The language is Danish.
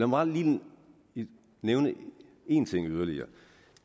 mig lige nævne en ting yderligere